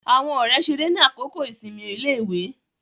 Àwọn ọ̀rẹ́ ṣeré ni àkókò ìsinmi iléèwé